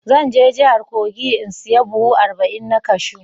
Zan je jihar kogi in saya buhu arba'in na cashew.